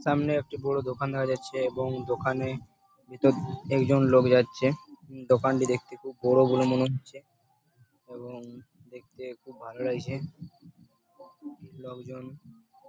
সামনে একটি বড় দোকান দেখা যাচ্ছে এবং দোকানে ভিতরে একজন লোক যাচ্ছে | দেখতে খুব বড় বলে মনে হচ্ছে এবং দেখতে খুব ভালো লাগছে লোকজন --